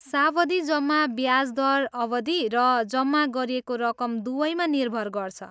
सावधि जम्मा ब्याज दर अवधि र जम्मा गरिएको रकम दुवैमा निर्भर गर्छ।